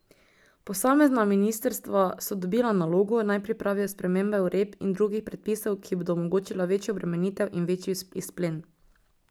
Posamezna ministrstva so dobila nalogo, naj pripravijo spremembe uredb in drugih predpisov, ki bodo omogočila večjo obremenitev in večji izplen.